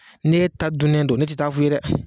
Ni e ta dunnen don ne te taa'a f'i ye dɛ